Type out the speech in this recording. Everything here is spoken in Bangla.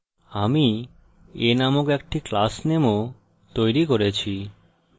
আমি a named একটি class নেমও তৈরী করেছি